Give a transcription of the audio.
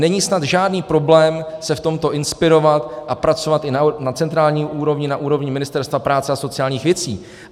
Není snad žádný problém se v tomto inspirovat a pracovat i na centrální úrovni, na úrovni Ministerstva práce a sociálních věcí.